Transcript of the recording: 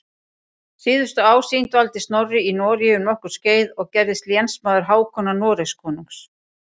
Síðustu ár sín dvaldi Snorri í Noregi um nokkurt skeið og gerðist lénsmaður Hákonar Noregskonungs.